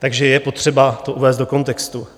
Takže je potřeba to uvést do kontextu.